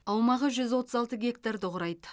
аумағы жүз отыз алты гектарды құрайды